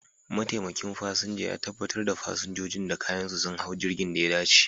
Mataimakin fasinja ya tabbatar da fasinjojin da kayansu sun hau jirgin da ya dace.